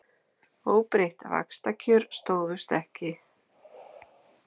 Óbreytt vaxtakjör stóðust ekki